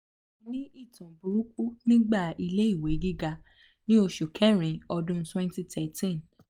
mo ni itan buruku nigba ile iwe giga ni osu kerin odun twenty thirteen